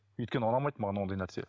өйткені ұнамайды маған ондай нәрсе